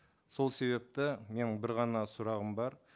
сол себепті менің бір ғана сұрағым бар